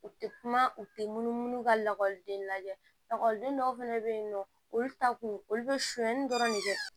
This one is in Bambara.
U tɛ kuma u tɛ munumunu ka lakɔliden lajɛ lakɔliden dɔw fana bɛ yen nɔ olu ta kun olu bɛ sonyani dɔrɔn de kɛ